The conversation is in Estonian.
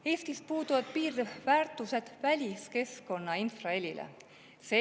Eestis puuduvad väliskeskkonna infraheli piirväärtused.